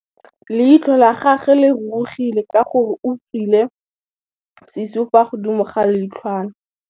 Leitlhô la gagwe le rurugile ka gore o tswile sisô fa godimo ga leitlhwana.